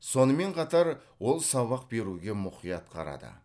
сонымен қатар ол сабақ беруге мұқият қарады